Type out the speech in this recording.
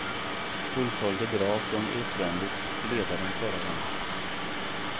Fullföljde bra från utvändigt ledaren förra gången.